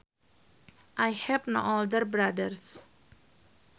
I have no older brothers